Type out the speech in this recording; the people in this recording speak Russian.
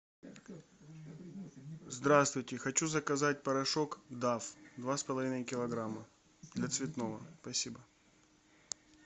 здравствуйте хочу заказать порошок дав два с половиной килограмма для цветного спасибо